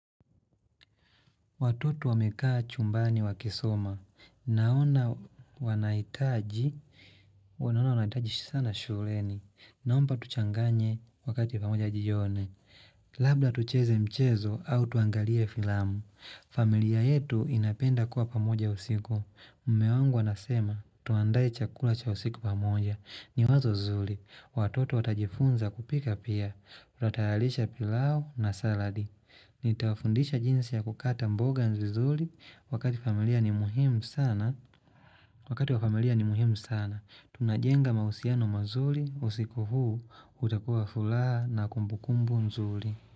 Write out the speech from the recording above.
Watoto wamekaa chumbani wakisoma. Naona wanahitaji sana shureni. Naomba tuchanganye wakati pamoja jioni. Labda tucheze mchezo au tuangalie filamu. Familia yetu inapenda kuwa pamoja usiku. Mume wangu anasema tuandae chakula cha usiku pamoja. Ni wazo zuri. Watoto watajifunza kupika pia. Twatayalisha pilau na saladi. Nitawafundisha jinsi ya kukata mboga nzu vizuri wakati familia ni muhimu sana, wakati wa familia ni muhimu sana, tunajenga mahusiano mazuri, usiku huu utakuwa wa furaha na kumbukumbu nzuri.